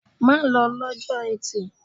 Má lọ lọ́jọ́ Etì!